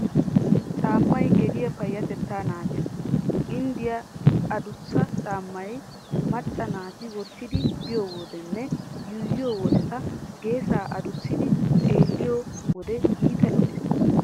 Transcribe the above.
Caammay gediya payyatettaa naagees. Ginddiya adussa caammay macca naati wottidi biyo wodenne yuuyyiyo wodeeta geesaa adussidi xeelliyo wode iita lo"ees.